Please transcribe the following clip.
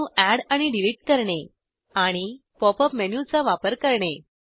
अणू अॅड आणि डिलिट करणे आणि पॉप अप मेनूचा वापर करणे